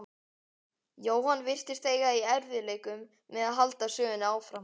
Jóhann virtist eiga í erfiðleikum með að halda sögunni áfram.